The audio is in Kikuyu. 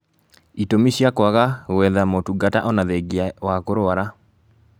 Itũmi cia kwaga gwetha motungata ona thengia wa kũrwara